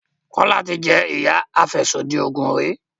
Kola tí jé iya afẹsodi oògùn rí.